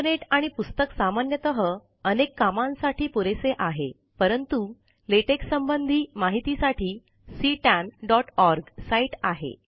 internet आणि पुस्तक सामान्यतः अनेक कामांसाठी पुरेसे आहे परंतु लेटेक संबंधी माहिती साठी ctanओआरजी साईट आहे